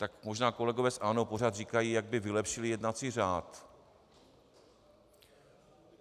tak možná kolegové z ANO pořád říkají, jak by vylepšili jednací řád.